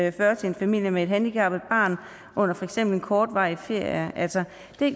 og fyrre til en familie med et handicappet barn under for eksempel en kortvarig ferie altså